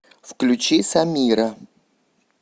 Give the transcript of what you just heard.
включи самира